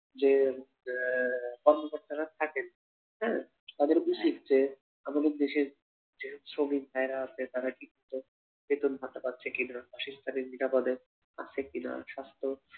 যে কর্মকর্তারা থাকেন হা তাদের উচিৎ যে আমাদের দেশের যে শ্রমিক ভাইয়ারা আছে তারা ঠিকমতো বেতনভাতা পাচ্ছে কি না, শেষ নিরাপদে আছে কি না সাস্থ